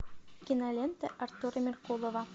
кинолента артура меркулова